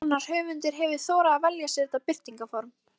Enginn annar höfundur hefur þorað að velja sér þetta birtingarform.